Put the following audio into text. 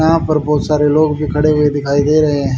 यहां पर बहोत सारे लोग भी खड़े हुए दिखाई दे रहे हैं।